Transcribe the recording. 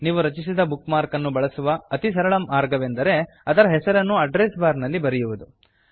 ನೀವು ರಚಿಸಿದ bookmark ಅನ್ನು ಬಳಸುವ ಅತಿ ಸರಳ ಮಾರ್ಗವೆಂದರೆ ಅದರ ಹೆಸರನ್ನು ಅಡ್ರೆಸ್ ಬಾರ್ ನಲ್ಲಿ ಬರೆಯುವುದು